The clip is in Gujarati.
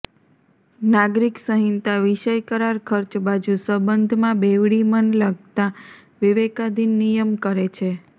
નાગરિક સંહિતા વિષય કરાર ખર્ચ બાજુ સંબંધમાં બેવડી મન લગતા વિવેકાધિન નિયમ કરે છે